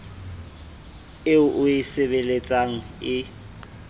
eo o e sebeletsang e